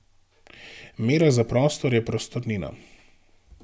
Mera za prostor je prostornina.